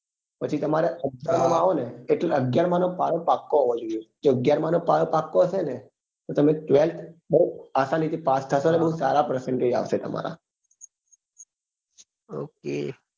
પછી તમારે અગિયાર માં માં આવો ને એટલે અગિયાર માં નો પાયો પાક્કો હોવો જોઈએ જો અગિયાર માં નો પાયો પાક્કો હશે તો તમે twelfth બઉ આસાની થી પાસ ઠસો ને બઉ સારા percentage આવશે તમારા